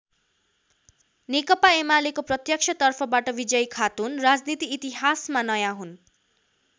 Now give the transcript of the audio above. नेकपा एमालेको प्रत्यक्ष तर्फबाट विजयी खातुन राजनीति इतिहासमा नयाँ हुन्।